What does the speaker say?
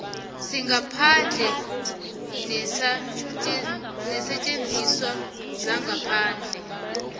sangaphandle neensetjenziswa zangaphandle